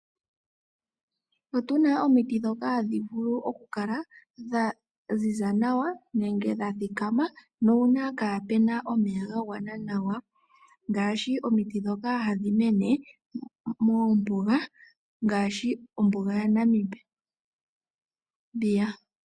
Otuna omiti ndhoka hadhi vulu oku kala dha ziza nawa, nenge dha thikama, nuuna kaapuna omeya ga gwana nawa, ngaashi omiti ndhoka hadhi mene mombuga ya Namibia.